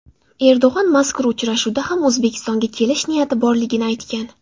Erdo‘g‘on mazkur uchrashuvda ham O‘zbekistonga kelish niyati borligini aytgan.